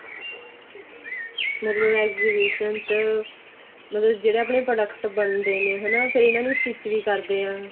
ਮਤਲਬ exhibition ਚ ਮਤਲਬ ਜਿਹੜੇ ਆਪਣੇ product ਬਣਦੇ ਹਣਾ ਫਿਰ ਇਹਨਾ ਨੂੰ stich ਵੀ ਕਰਦੇ ਆਂ